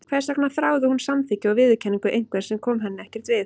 Hvers vegna þráði hún samþykki og viðurkenningu einhvers sem kom henni ekkert við?